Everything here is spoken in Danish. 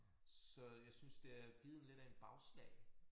Så jeg synes det har givet lidt af en bagslag